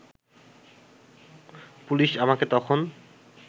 police আমাকে তখন